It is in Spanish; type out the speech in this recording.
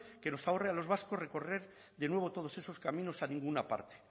que nos ahorre a los vascos recorrer de nuevo todos esos caminos a ninguna parte